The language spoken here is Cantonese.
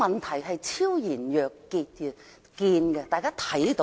事情昭然若揭，大家都看得到。